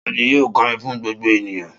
Ta ni yóò kọrin fún gbogbo ènìyàn?